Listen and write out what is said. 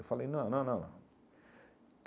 Eu falei, não, não, não, não.